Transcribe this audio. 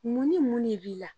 Mun ni mun ne b'i la